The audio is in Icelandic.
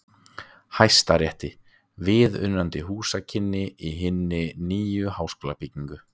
Hæstarétti viðunandi húsakynni í hinni nýju háskólabyggingu.